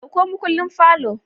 Ɗauko makullin parlour